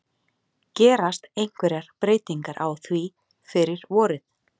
Gerast einhverjar breytingar á því fyrir vorið?